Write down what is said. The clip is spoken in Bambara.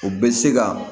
O bɛ se ka